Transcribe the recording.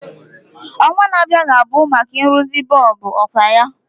Ọnwa na-abịa ga-abụ maka nrụzi bọlbụ, ọkwa ya?